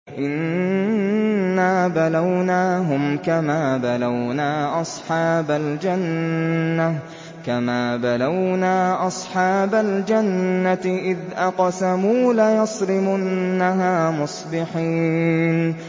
إِنَّا بَلَوْنَاهُمْ كَمَا بَلَوْنَا أَصْحَابَ الْجَنَّةِ إِذْ أَقْسَمُوا لَيَصْرِمُنَّهَا مُصْبِحِينَ